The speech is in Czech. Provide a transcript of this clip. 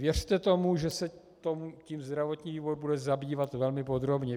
Věřte tomu, že se tím zdravotní výbor bude zabývat velmi podrobně.